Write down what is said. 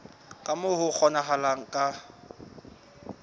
ka moo ho kgonahalang ka